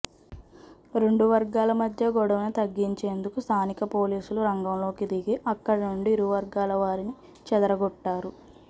రెండు వర్గాల మద్య గొడవను తగ్గించేందుకు స్థానిక పోలీసులు రంగంలోకి దిగి అక్కడ నుండి ఇరు వర్గాల వారిని చెదరగొట్టారు